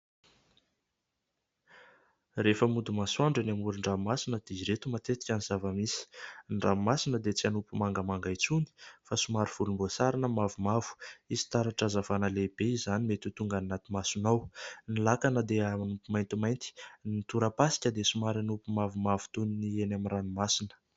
Rehefa mody masoandro eny amoron-dranomasina dia ireto matetika ny zava-misy : ny ranomasina dia tsy hanopy mangamanga intsony fa somary volomboasary na mavomavo, hisy taratra hazavana lehibe izany mety tonga ny anaty masonao, ny lakana dia manopy maintimainty, ny torapasika dia somary manopy mavomavo toy ny eny amin'ny ranomasina.